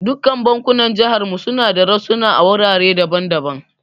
Dukkan bankunan jihar mu suna da rassuna a wurare daban daban.